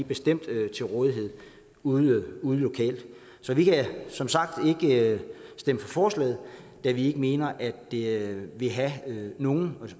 bestemt er til rådighed ude ude lokalt så vi kan som sagt ikke stemme for forslaget da vi mener at det ikke vil have nogen